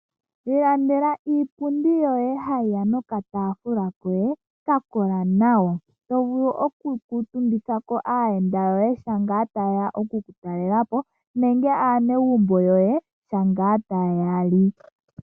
Ilandela iipundi yoye hayi ya noka taafula kayo ka kola nawa. Oto vulu oku kuutumbitha ko aayenda yoye ngele yeya oku ku talela po. Nenge aanegumbo yoye shampa taya li.